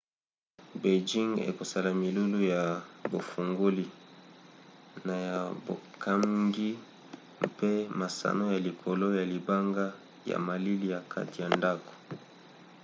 beinjing ekosala milulu ya bufongoli na ya bokangi mpe masano ya likolo ya libanga ya malili ya kati ya ndako